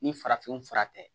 Ni farafin fura tɛ